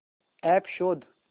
app शोध